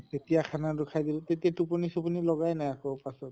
তেতিয়া খানা টো খাই দিলো তেতিয়া টোপনী চোপনী লগায় নাই আকৌ পাছত